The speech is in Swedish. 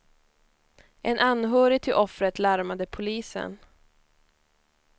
En anhörig till offret larmade polisen.